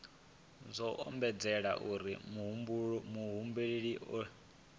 zwo ombedzelwa uri muhumbeli a